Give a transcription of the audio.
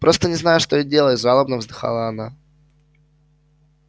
просто не знаю что и делать жалобно вздыхала она